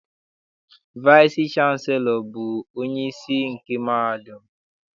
Vaịsị chanselọ bụ onyeisi nke mahadum.